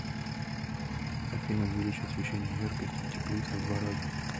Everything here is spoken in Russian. афина увеличь освещение яркости в теплице в два раза